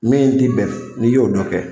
Min tɛ bɛn n'i y'o dɔ kɛ.